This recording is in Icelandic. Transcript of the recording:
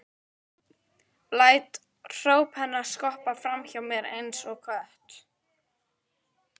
Læt hróp hennar skoppa fram hjá mér einsog knött.